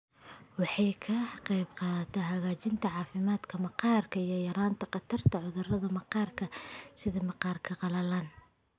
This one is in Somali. Waxay ka qaybqaadataa hagaajinta caafimaadka maqaarka iyo yaraynta khatarta cudurrada maqaarka sida maqaarka qalalan.